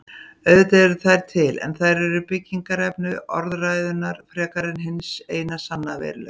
Auðvitað eru þær til en þær eru byggingarefni orðræðunnar frekar en hins eina sanna veruleika.